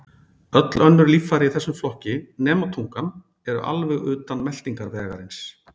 Öll önnur líffæri í þessum flokki, nema tungan, eru alveg utan meltingarvegarins.